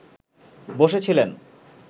বসে ছিলেন